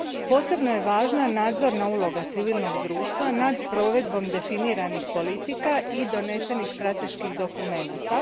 Posebno je važna nadzorna uloga civilnog društva nad provedbom definiranih politika i donesenih strateških dokumenata.